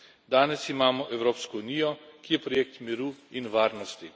Danes imamo Evropsko unijo, ki je projekt miru in varnosti.